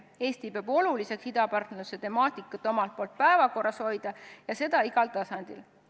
Eesti peab oluliseks idapartnerluse temaatikat omalt poolt päevakorral hoida ja seda igal tasandil.